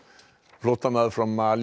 flóttamaður frá Malí